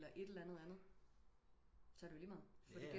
Eller et eller andet så er det jo ligemeget fordi